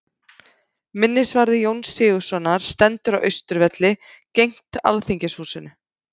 Minnisvarði Jóns Sigurðssonar stendur á Austurvelli, gegnt Alþingishúsinu.